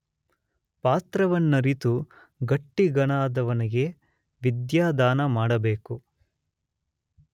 ಪಾತ್ರವನ್ನರಿತು ಗಟ್ಟಿಗನಾದವನಿಗೆ ವಿದ್ಯಾದಾನ ಮಾಡಬೇಕು.